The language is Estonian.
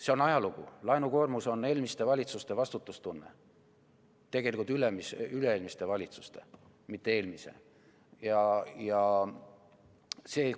See on ajalugu, laenukoormus on eelmiste valitsuste vastutustunne, tegelikult üle-eelmiste valitsuste, mitte eelmise valitsuse.